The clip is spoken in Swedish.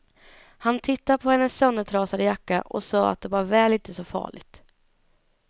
Han tittade på hennes söndertrasade jacka och sade att det var väl inte så farligt.